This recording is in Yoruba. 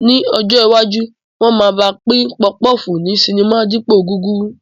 Ní ọjọ́ iwájú, wọn máa ma pín pọfupọ́ọ̀fù ní sinimá dípòo gúrúrú